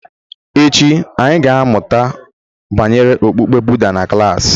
Echi, anyị ga-amụta banyere okpukpe Buda na klas.